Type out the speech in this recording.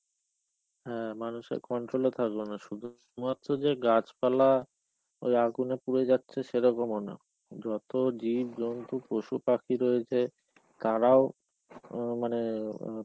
হ্যাঁ, মানুষের controll এ থাকলো না শুধু. শুধুমাত্র যে গাছপালা ওই আগুনে পুরে যাচ্ছে সেইরকমও না. যত জীব জন্তু পশু পাখি রয়েছে, তারাও ও মানে